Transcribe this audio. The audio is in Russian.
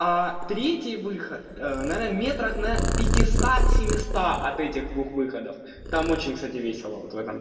третий выход наверное метрах на пятиста семиста от этих двух выходов там очень кстати весело вот в этом